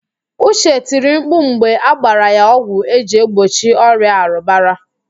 Uche tiri mkpu mgbe agbara ya ọgwụ eji egbochi ọrịa arụbara